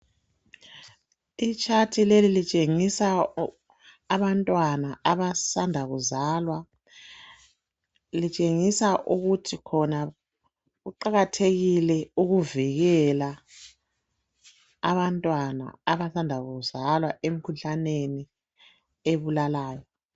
Itshathi leli litshengisa abantwana abasanda kuzalwa , litshengisa ukuthi khona kuqakathekile ukuvikela abantwana abasanda kuzalwa emkhuhlaneni ebulalayo.